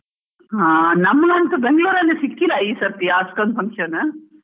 ಹಾ ನಮ್ಮಗಂತ ಬೆಂಗ್ಳುರ್ ಅಲ್ಲಿ ಸಿಕ್ಕಿಲ್ಲ ಈ ಸರ್ತಿ ಅಷ್ಟೊಂದು function .